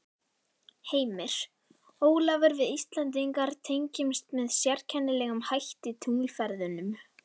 Heimir: Ólafur við Íslendingar tengjumst með sérkennilegum hætti tunglferðunum?